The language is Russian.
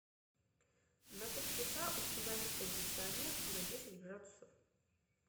на три часа установи кондиционер на десять градусов